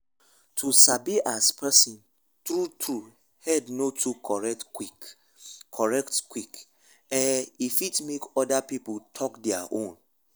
to sabi as person true true head no too correct quick correct quick eh e fit make oda people talk their own